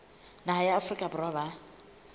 naha ya afrika borwa ba